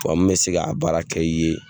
Wa min bɛ se ka a baara kɛ i ye